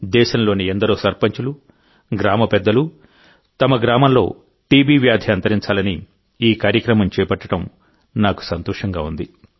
దేశంలోని ఎందరో సర్పంచులు గ్రామపెద్దలు తమ గ్రామంలో టీబీ వ్యాధి అంతరించాలని ఈ కార్యక్రమం చేపట్టడం నాకు సంతోషంగా ఉంది